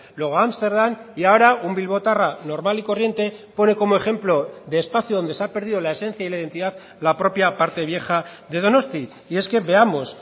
luego ámsterdam y ahora un bilbotarra normal y corriente pone como ejemplo de espacio donde se ha perdido la esencia y la identidad la propia parte vieja de donosti y es que veamos